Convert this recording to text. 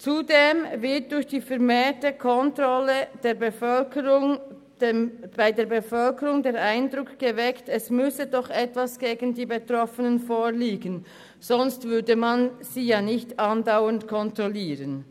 Zudem wird durch die vermehrte Kontrolle bei der Bevölkerung der Eindruck erweckt, es müsse doch etwas gegen die Betroffenen vorliegen, sonst würde man sie ja nicht andauernd kontrollieren.